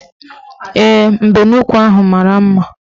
Ee, mbenuukwu ahụ mara mma